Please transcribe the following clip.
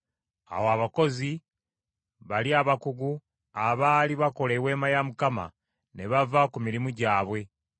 Awo abakozi bali abakugu abaali bakola eweema ya Mukama ne bava ku mirimu gyabwe,